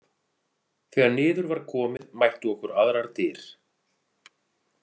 Þegar niður var komið mættu okkur aðrar dyr.